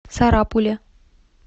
сарапуле